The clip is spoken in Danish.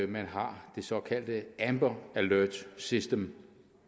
man har det såkaldte amber alert system